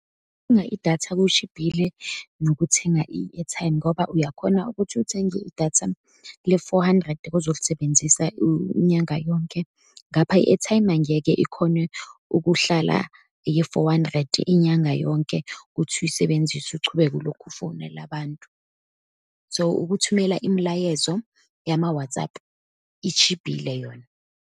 idatha kushibhile, nokuthenga i-airtime, ngoba uyakhona ukuthi uthenge idatha le-four hundred, ozolisebenzisa inyanga yonke, ngapha i-airtime angeke ikhone ukuhlala, ye-four hundred, inyanga yonke ukuthi uyisebenzise, uchubeke ulokhu ufonele abantu. So, ukuthumela imilayezo yama-WhatsApp itshibhile yona.